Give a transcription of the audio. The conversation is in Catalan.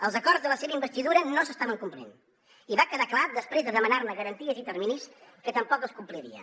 els acords de la seva investidura no s’estaven complint i va quedar clar després de demanar ne garanties i terminis que tampoc es complirien